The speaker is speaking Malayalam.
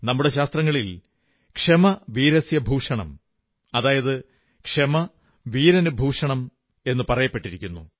നമ്മുടെ ശാസ്ത്രങ്ങളിൽ ക്ഷമ വീരസ്യ ഭൂഷണം അതായത് ക്ഷമ വീരനു ഭൂഷണം എന്നു പറഞ്ഞിട്ടുണ്ട്